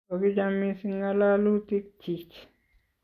kokicham mising' ng'alalutikchich